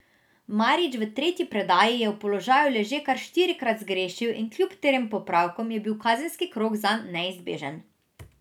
Marič v tretji predaji je v položaju leže kar štirikrat zgrešil in kljub trem popravkom je bil kazenski krog zanj neizbežen.